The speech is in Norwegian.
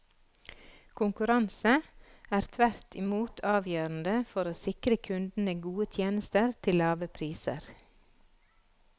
Konkurranse er, tvert imot, avgjørende for å sikre kundene gode tjenester til lave priser.